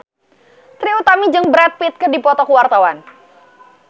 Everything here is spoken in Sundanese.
Trie Utami jeung Brad Pitt keur dipoto ku wartawan